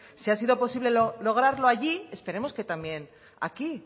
si ha sido posible lograrlo allí esperemos que también aquí